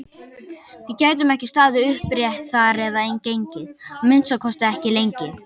Við gætum ekki staðið upprétt þar eða gengið, að minnsta kosti ekki lengi!